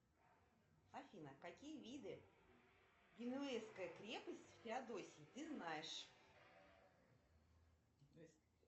афина какие виды генуэзской крепости в феодосии ты знаешь